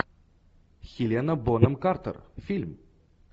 хелена бонем картер фильм